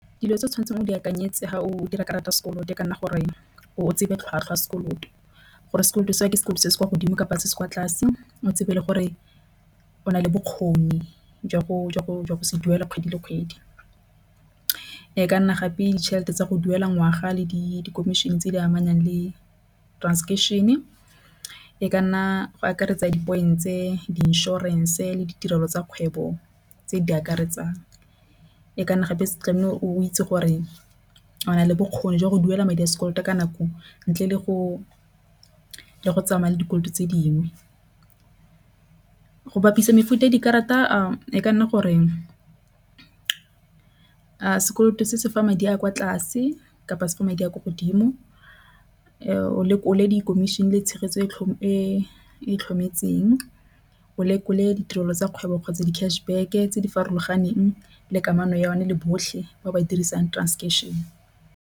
Dilo tse o tshwanetseng o di akanyetse ga o dira karata ya sekoloto kana gore o tsebe tlhwatlhwa sekolong gore sekoloto sa ke sekolo se se kwa godimo kapa se se kwa tlase. O tsebe le gore o nale bokgoni jwa go go go se duela kgwedi le kgwedi e ka nna gape ditšhelete tsa go duela ngwaga le di commission tse di amanang le transaction e e ka nna go akaretsa dipoelong tse di inšorense le ditirelo tsa kgwebo tse di akaretsang e ka nna gape tlamehile o itse gore o nale bokgoni jwa go duela madi a sekoloto ka nako ntle le go tsamaya le dikoloto tse dingwe go bapisa mefuta e dikarata e ka nna goreng sekoloto se se fa madi a kwa tlase kapa se fa madi a kwa godimo o lekole di khomišene le tshegetso e e tlhokometseng o lekole ditirelo tsa kgwebo kgotsa di cash back tse di farologaneng le kamano ya yone le botlhe ba ba dirisang transaction